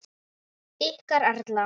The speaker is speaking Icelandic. Ykkar Erla.